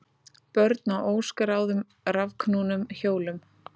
Börn á óskráðum rafknúnum hjólum